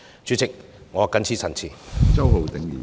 主席，我謹此陳辭。